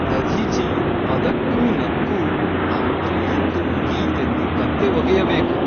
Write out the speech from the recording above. ದಧೀಚಿಯು ಅದಕ್ಕೂ ನಕ್ಕೂ ಅಂತೂ ಇಂತೂ ಮುಗಿಯಿತೆಂದು ಕಂತೆ ಒಗೆಯಬೇಕು.